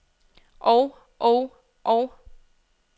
og og og